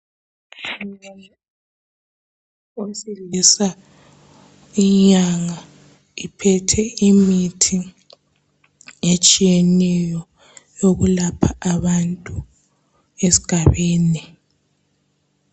eyesilisa inyanga iphethe imithi etshiyeneyo eyokulapha abantu esigabeni